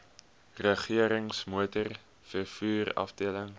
regerings motorvervoer afdeling